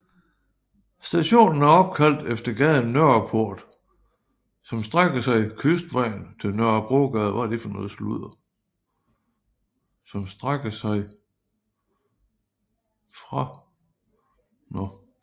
Stationen er opkaldt efter gaden Nørreport som strækker sig kystvejen til Nørrebrogade